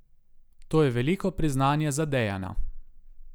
To je veliko priznanje za Dejana.